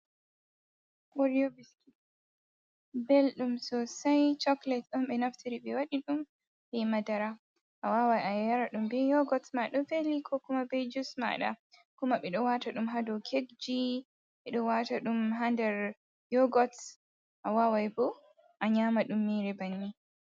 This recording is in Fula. Oriyo biskin, belɗum Sosai chokolet'on be naftiri ɓe waɗi ɗum be Madara, awawan ayaraɗum be yogot ma ɗo Veli ko kuma be jus maɗa, kuma ɓe ɗo wataɗum ha dou kekji ɓe ɗo wataɗum ha nder yogot, awawaibo a nyama ɗum mere banni.